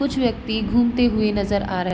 कुछ व्यक्ति घूमते हुए नजर आ र --